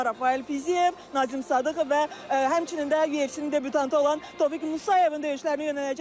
Bunlar Rafael Fiziyev, Nazim Sadıxov və həmçinin də UFC-nin debütantı olan Tofiq Musayevin döyüşlərinə yönələcək.